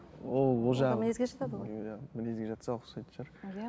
мінезге жатады ғой мінезге жатса ұқсайтын шығар иә